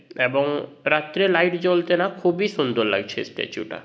এবং রাত্রে লাইট জ্বলতে না খুবই সুন্দর লাগছে স্ট্যাচু -টা।